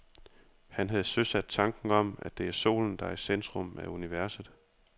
Han havde søsat tanken om, at det er solen, der er i centrum af universet.